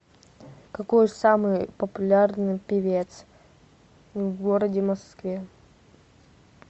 какой самый популярный певец в городе москве